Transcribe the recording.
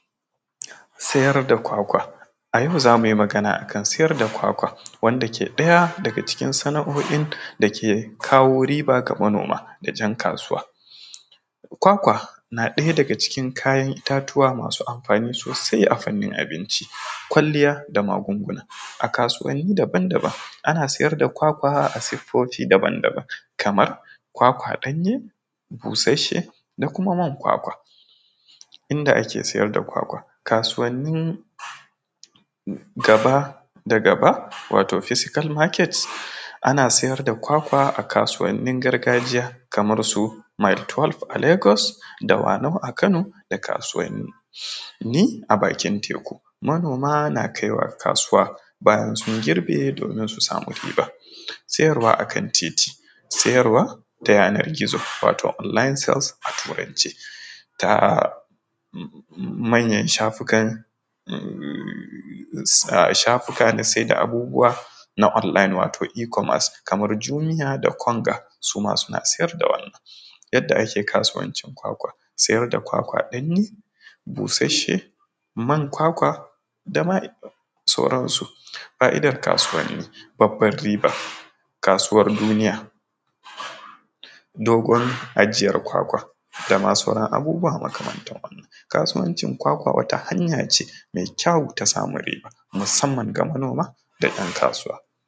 Sayar da kwakwa a yau, zamu yi magana akan sayar da kwakwa wanda ke ɗaya daga cikin sana’o’in dake kawo riba ga manoma da jan kasuwa kwakwa na ɗaya daga cikin kayan itatuwa masu amfani sosai, a fanin abinci kwaliya da magunguna a kasuwani daban-daban ana siyar da kwakwa a sifofi daban-daban kamar kwakwa ɗanye, busashe da kuma mai kwakwa inda ake siyar da kwakwa kasuwani gaba da gaba wato physical market ana siyar da kwakwa a kasuwanin gargajiya kamar su maftol a lagos, dawana’u a kano da kasuwani a bakin tekun manoma na kaiwa kasuwa bayan sun girbe domin su samu riba siyarwa akan titi sayarwa ta yanar gizo wato online sales a turance ta manyan shafukan shafukan na saida abubuwa na online wato E-commance kamar jumia da konga suma suna siyar da wannan, yadda ake kasuwancin kwakwa siyar da kwakwa ɗanye ko busashe man kwakwa dama sauransu. Fa’idar kasuwani babbar riba kasuwar duniya dogon ajiyar kwakwa dama sauran abubuwa makamantan wannan kasuwancin kwakwa wata hanya ce mai kyau ta samun riba musamman ga manoma da yan kasuwa.